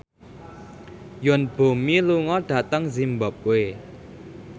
Yoon Bomi lunga dhateng zimbabwe